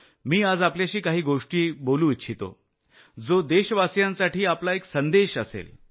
मी आज आपल्याशी काही गोष्टी बोलू इच्छितो ज्या देशवासियांसाठी संदेश ठरतील